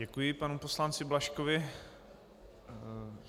Děkuji panu poslanci Blažkovi.